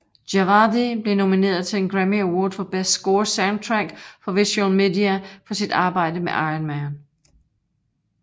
Djawadi blev nomineret til en Grammy Award for Best Score Soundtrack for Visual Media for sit arbejde med Iron Man